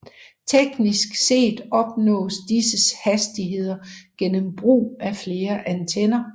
Teknisk set opnås disse hastigheder gennem brug af flere antenner